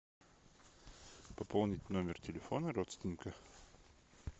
пополнить номер телефона родственника